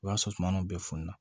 O y'a sɔrɔ sumaw bɛ fununa